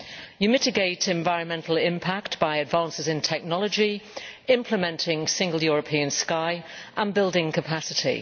One mitigates environmental impact by advances in technology, implementing the Single European Sky and building capacity.